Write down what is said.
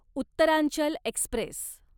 Uttaranchal Express